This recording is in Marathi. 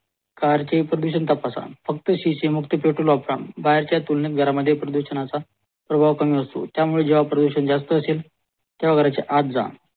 कारचे प्रदूषण तपासा फक्त शीशे मुक्त पेट्रोल वापर बाहेरच्या तुलनेत घरामध्ये प्रदूषणाचा प्रभाव कमी असतो त्या मुळे प्रदूषण जास्त असेलतेव्हा घराच्या आत जा